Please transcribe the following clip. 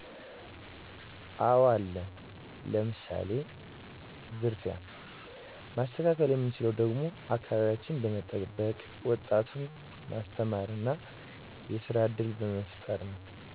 አወ አለ ለምሳሌ፦ ዝርፊያ ማስተካከል የምንችለውም ደግሞ አከባቢያችን በመጠበቅ ወጣቱን ማስተማር እና የስራ እድል በመፍጠር ነው